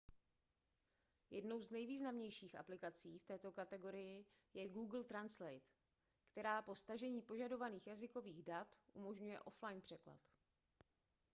jednou z nejvýznamnějších aplikací v této kategorii je google translate která po stažení požadovaných jazykových dat umožňuje offline překlad